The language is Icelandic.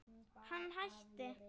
Hann hætti.